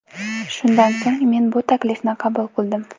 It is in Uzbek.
Shundan so‘ng men bu taklifni qabul qildim.